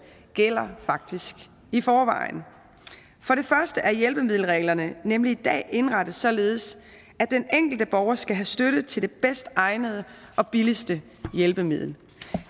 gælder faktisk i forvejen for det første er hjælpemiddelreglerne nemlig i dag indrettet således at den enkelte borger skal have støtte til det bedst egnede og billigste hjælpemiddel